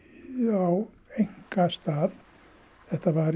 á einkastað þetta var